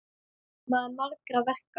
Maður margra verka.